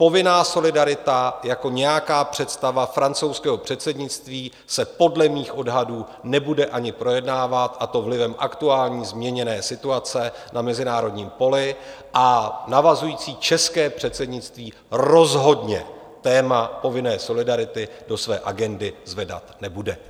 Povinná solidarita jako nějaká představa francouzského předsednictví se podle mých odhadů nebude ani projednávat, a to vlivem aktuální změněné situace na mezinárodním poli, a navazující české předsednictví rozhodně téma povinné solidarity do své agendy zvedat nebude.